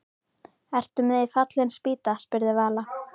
Ertu með í Fallin spýta? spurði Vala.